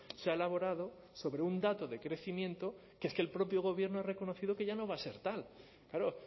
se ha elaborado sobre un dato de crecimiento que es que el propio gobierno ha reconocido que ya no va a ser tal claro